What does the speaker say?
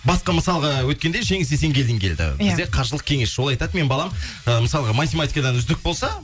басқа мысалға өткенде жеңіс есенгелдин келді иә бізде қаржылық кеңесші ол айтады менің балам ы мысалы математикадан үздік болса